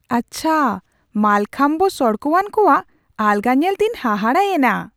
ᱟᱪᱪᱷᱟ, ᱢᱟᱞᱠᱷᱟᱢᱵᱽ ᱥᱚᱲᱠᱚᱣᱟᱱ ᱠᱚᱣᱟᱜ ᱟᱞᱜᱟ ᱧᱮᱞᱛᱮᱧ ᱦᱟᱦᱟᱲᱟ ᱮᱱᱟ !